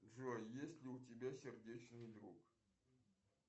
джой есть ли у тебя сердечный друг